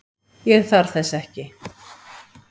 Ég þarf þess ekki.